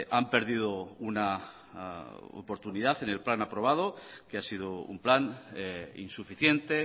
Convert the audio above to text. han perdido una oportunidad en el plan aprobado que ha sido un plan insuficiente